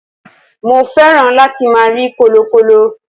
mo fẹ́ràn láti ma rí kọlọkọlọ